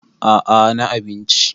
a a na abinci